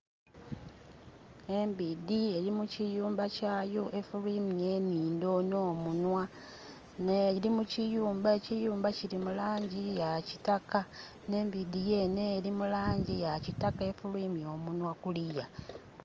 Embidhi eri mu kiyumba lyato efulwimya enhindho nho munhwa nga eri mu kiyumba, ekiyumba kili mu langi ya kitaka nhe embidhi yene ya kitaka efulwimya omunhwa kuliya.